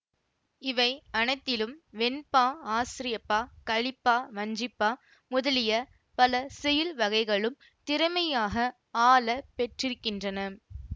இவை அனைத்திலும் வெண்பா ஆசிரியப்பா கலிப்பா வஞ்சிப்பா முதலிய பல செய்யுள் வகைகளும் திறமையாக ஆள பெற்றிருக்கின்றன